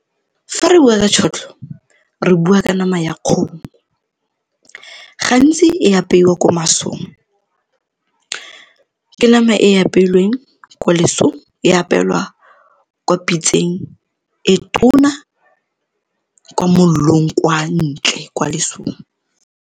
Fa re bua ka tšhotlho, re bua ka nama ya kgomo. Gantsi e apeiwa ko masong, ke nama e apeilweng ko lesong e apeelwa kwa pitseng e tona kwa molelong, kwa ntle, kwa lesong.